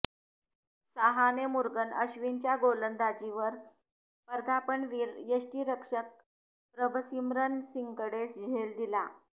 साहाने मुरुगन अश्विनच्या गोलंदाजीवर पदार्पणवीर यष्टीरक्षक प्रभसिमरन सिंगकडे झेल दिला